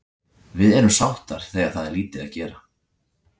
Við erum sáttar þegar það er lítið gera.